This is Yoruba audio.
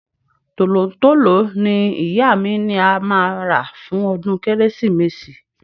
Tolontolo ni ìyá mi ni a máa rà fún ọdún Kérésìmesì.